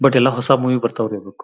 But ಎಲ್ಲಾ ಹೊಸ movie ಬರತ್ತಾ ಇರಬೇಕು.